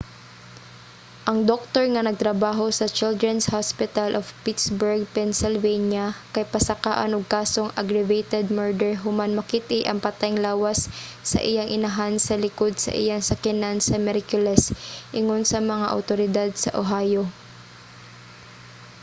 ang doktor nga nagtrabaho sa children's hospital of pittsburgh pennsylvania kay pasakaan og kasong aggravated murder human makit-i ang patayng lawas sa iyang inahan sa likod sa iyang sakyanan sa miyerkules ingon sa mga awtoridad sa ohio